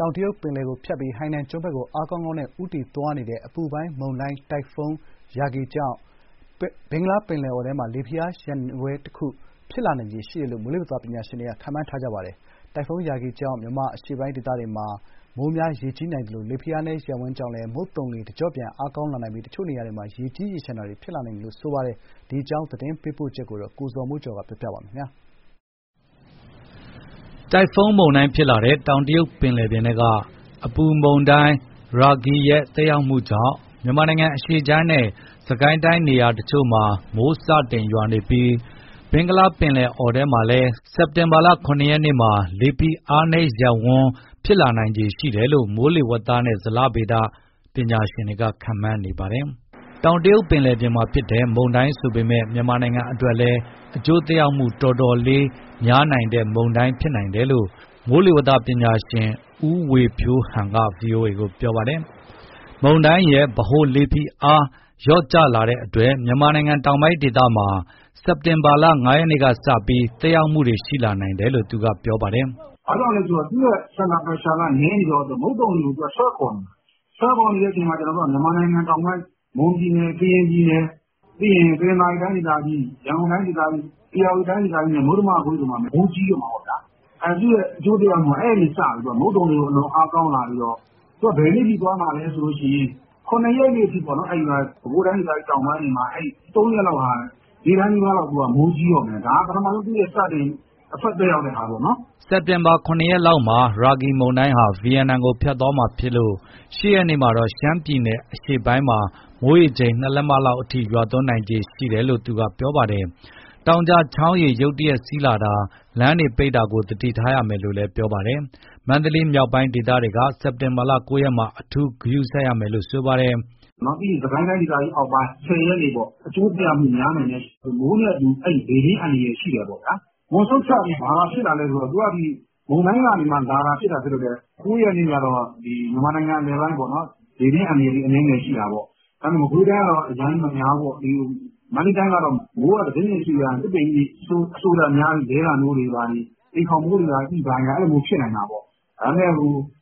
တောင်တရုတ်ပင်လယ်ကိုဖြတ်ပြီး ဟိုင်နန်ကျွန်းဘက်ကို အားကောင်းကောင်းနဲ့ ဦးတည်သွားနေတဲ့ အပူပိုင်းမုန်တိုင်းတိုင်ဖွန်း Yagi ကြောင့် ဘင်္ဂလားပင်လယ်အော်ထဲမှာ လေဖိအားနည်းရပ်ဝန်းတခု ဖြစ်လာနိုင်ခြေရှိနေတယ်လို့မိုးလေဝသ ပညာရှင်တွေက ခန့်မှန်းထားပါတယ်။ တိုင်ဖွန်း Yagi ကြောင့် မြန်မာအရှေ့ပိုင်းတွေမှာ မိုးများ၊ ရေကြီးနိုင်သလို လေဖိအားနည်း ရပ်ဝန်းကြောင့် မုတ်သုန်လေ တကျော့ပြန် အားကောင်းနိုင်ပြီး တချို့နေရာတွေမှာ ရေကြီးရေလျှံတွေ ဖြစ်လာနိုင်ခြေ ရှိပါတယ်။ ဒီအကြောင်းသတင်းပေးပို့ချက်ကို ကိုဇော်မိုးကျော်က တင်ပြပေးထားပါတယ်။ တိုင်ဖွန်းမုန်တိုင်းဖြစ်လာတဲ့ တောင်တရုတ်ပင်လယ်ထဲက အပူပိုင်းမုန်တိုင်း ရာဂီ ရဲ့ သက်ရောက်မှုကြောင့်မြန်မာနိုင်ငံအရှေ့ခြမ်းနဲ့ စစ်ကိုင်းတိုင်းနေရာ တချို့မှာ မိုးစတင်ရွာနေပြီး ဘင်္ဂလားပင်လယ်အော်ထဲမှာလည်းစက်တင်ဘာ ၇ ရက်မှာ လေဖိအားနည်းရပ်ဝန်းကို ဖြစ်လာနိုင်ခြေရှိနေတယ်လို့ မိုးလေဝသပညာရှင်တွေက ခန့်မှန်းနေပါတယ်။ တောင်တရုတ်ပင်လယ်မှာဖြစ်တဲ့ မုန်တိုင်းဆိုပေမဲ့ မြန်မာနိုင်ငံအတွက်လည်း အကျိုးသက်ရောက်မှု အတော်လေးပေးနိုင်တဲ့ မုန်တိုင်း ဖြစ်တယ်လို့ လေကြောင်း မိုးလေဝသပညာရှင် ဦးဝေဖြိုးဟန်က ဗွီအိုအေကို ပြောပါတယ်။ မုန်တိုင်းရဲ့ဗဟိုလေဖိအားက 994 hPa လောက် လျော့ကျလာလို့ မြန်မာနိုင်ငံ တောင်ပိုင်းဒေသတွေမှာ မနက်ဖြန်စက်တင်ဘာ ၅ ရက်ကစပြီး သက်ရောက်မှုတွေ ရှိလာနိုင်ကြောင်း သူကပြောပါတယ်။ "ဘာကြောင့်လဲဆိုတော့ သူ့ရဲ့ center pressure က နည်းနေတော့ မုတ်သုန်လေကို သူကဆွဲခေါ်နေတာ။ ဆွဲခေါ်နေတော့ မြန်မာနိုင်ငံ တောင်ဘက် မွန်ပြည်နယ်၊ ကရင်ပြည်နယ်၊ တနင်္သာရီတိုင်းဒေသကြီး၊ ရန်ကုန်တိုင်း ဒေသကြီး၊ဧရာဝတီတိုင်းဒေသကြီးနဲ့ မုတ္တမကွေ့တို့မှာ မနက်ဖြန်ကစပြီး မိုးကြီးတော့မှာပေါ့ဗျာ။ သူ့ရဲ့အကျိုးသက်ရောက်မှုကမုတ်သုန်လေကို အလွန်အားကောင်းလာစေပြီး ဘယ်နေ့အထိသွားမှာလဲဆိုရင် ၇ ရက်အထိပေါ့။ ပဲခူးတိုင်းဒေသကြီးတောင်ပိုင်းတွေမှာ ၃ ရက်လောက်ဟာ နေ့တိုင်းမိုးကြီးတော့မယ်။ ဒါက ပထမဆုံးသူ့ရဲ့ စတင် affect သက်ရောက်တဲ့ဟာပေါ့နော်။" စက်တင်ဘာ ၇ ရက်လောက်မှာ ရာဂီမုန်တိုင်းက ဗီယက်နက်နိုင်ငံကို ဖြတ်သွားမှာဖြစ်လို့ ၈ ရက်မှာတော့ ရှမ်းပြည်နယ်အရှေ့ပိုင်းမှာ မိုးရေချိန်က ၂ လက်မအထက်အထိ ရွာသွန်းနိုင်ခြေရှိနေကြောင် သူပြောပါတယ်။ တောင်ကျချောင်းရေရုတ်တရက်စီးလာတာ၊ လမ်းပိတ်တာတွေကို သတိထားရမယ်လို့ ပြောပါတယ်။ မန္တလေးမြောက်ပိုင်း ဒေသတွေကစက်တင်ဘာ ၉ ရက်မှာ အထူးဂရုစိုက်ရမယ်လို့ သူကပြောပါတယ်။ "ပြီးရင် စစ်ကိုင်းတိုင်ဒေသကြီး အောက်ပိုင်း၊ ၁၀ ရက်နေ့ပေါ့။ အကျိုးသက်ရောက်မှု များနိုင်တယ်။ မိုးနဲ့အတူလေပြင်းအန္တရာယ်ရှိတယ်ပေါ့။ Moonson Trough အပြင် ဘာဖြစ်လာလဲဆိုတော့ သူက မုန်တိုင်းကနေလာတာဖြစ်လို့ ၉ ရက်နေ့ကတော့ မြန်မာနိုင်ငံ အလယ်ပိုင်း လေပြင်းအန္တရာယ် အနည်းငယ်ရှိတာပေါ့။ မကွေးတိုင်းကတော့အရမ်းကြီးများဘူးပေါ့။ မန္တလေးတိုင်းကတော့ မိုးကတစိမ့်စိမ့် စွေရွာရင် သစ်ပင်ကြီးတွေ ရေအစိုများပြီး လဲတာမျိုးတွေ၊ အိမ်ခေါင်ပိ အဲဒါမျိုးတွေ ဖြစ်နိုင်တယ်။ ဒါပေမဲ့